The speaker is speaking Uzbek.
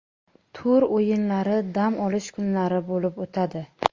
Tur o‘yinlari dam olish kunlari bo‘lib o‘tadi.